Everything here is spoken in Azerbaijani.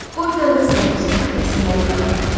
Qoy Tanrı səni xoşbəxt eləsin, mənim balam.